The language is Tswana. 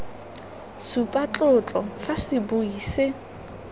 supa tlotlo fa sebui se